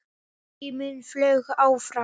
Tíminn flaug áfram.